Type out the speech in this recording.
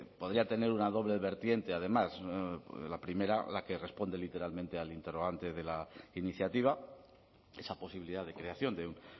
podría tener una doble vertiente además la primera la que responde literalmente al interrogante de la iniciativa esa posibilidad de creación de un